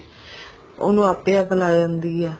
ਉਹਨੂੰ ਆਪੇ ਆਪ ਲੈ ਜਾਂਦੀ ਹੈ